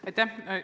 Aitäh!